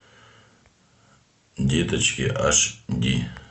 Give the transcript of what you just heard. деточки аш ди